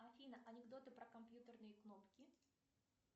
афина анекдоты про компьютерные кнопки